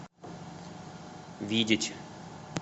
видеть